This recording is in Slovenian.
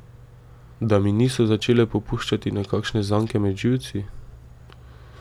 Da mi niso začele popuščati nekakšne zanke med živci?